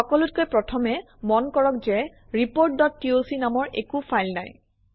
সকলোতকৈ প্ৰথমে মন কৰক যে reportটক নামৰ একো ফাইল নাই